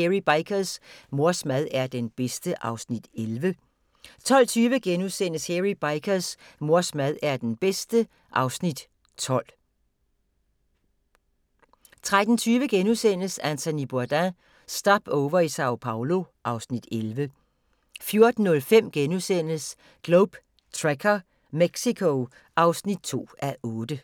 Hairy Bikers: Mors mad er den bedste (Afs. 11)* 12:20: Hairy Bikers: Mors mad er den bedste (Afs. 12)* 13:20: Anthony Bourdain – Stopover i Sao Paolo (Afs. 11)* 14:05: Globe Trekker - Mexico (2:8)*